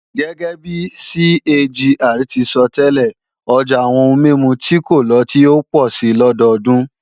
Gẹ́gẹ́bi CAGR ti sọtẹ́lẹ̀, ọjà àwọn ohun mímu tí kò lọ́tí ó pọ̀ si lọdọdún